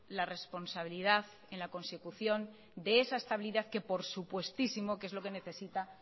la responsabilidad en la consecución de esa estabilidad que por supuestísimo que es lo que necesita